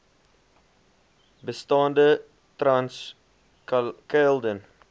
bestaande trans caledon